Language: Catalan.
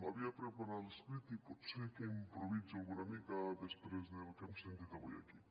havia preparat l’escrit i pot ser que improvisi una mica després del que hem sentit avui aquí